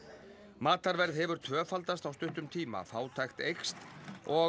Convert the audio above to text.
matarverð hefur tvöfaldast á stuttum tíma fátækt eykst og